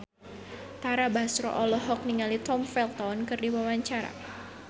Tara Basro olohok ningali Tom Felton keur diwawancara